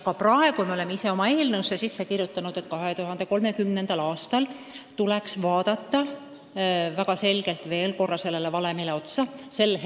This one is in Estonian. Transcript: Ja praegu me oleme sellesse eelnõusse kirjutanud, et 2030. aastal tuleks uuesti sellele valemile otsa vaadata.